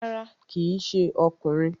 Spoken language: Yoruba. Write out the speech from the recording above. Rárá, kíì ṣe ọkùnrin